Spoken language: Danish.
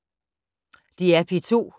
DR P2